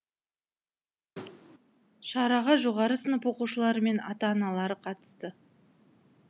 шараға жоғары сынып оқушылары мен ата аналары қатысты